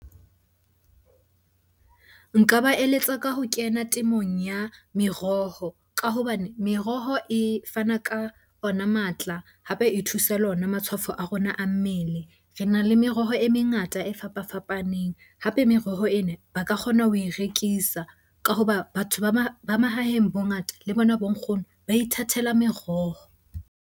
Nka ba eletsa ka ho kena temong ya meroho ka hobane meroho e fana ka ona matla, hape e thusa le ona matshwafo a rona a mmele. Re na le meroho e mengata e fapafapaneng, hape meroho ena ba ka kgona ho e rekisa ka hoba batho ba mahaheng bongata le bona bo nkgono ba ithatela meroho.